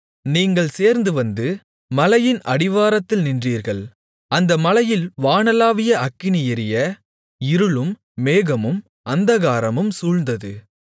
நீங்கள் சேர்ந்து வந்து மலையின் அடிவாரத்தில் நின்றீர்கள் அந்த மலையில் வானளாவிய அக்கினி எரிய இருளும் மேகமும் அந்தகாரமும் சூழ்ந்தது